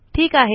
ठीक आहे